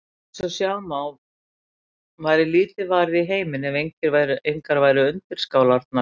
Eins og sjá má væri lítið varið í heiminn ef engar væru undirskálarnar.